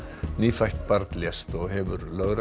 nýfætt barn lést og hefur lögregla